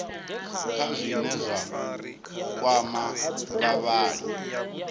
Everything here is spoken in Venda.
kha zwine zwa kwama vhavhali